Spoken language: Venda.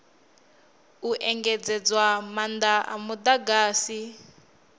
u engedzedzwa maanda a mudagasi